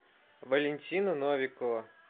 валентина новикова